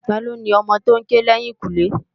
Tá ló ni òmò tó n ké lèyinkúnlé?